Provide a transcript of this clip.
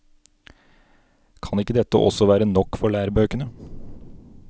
Kan ikke dette også være nok for lærebøkene?